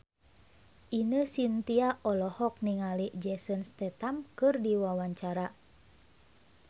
Ine Shintya olohok ningali Jason Statham keur diwawancara